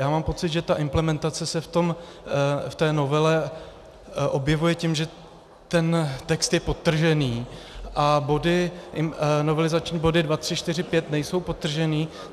Já mám pocit, že ta implementace se v té novele objevuje tím, že ten text je podtržený, a novelizační body 2, 3, 4, 5 nejsou podtržené.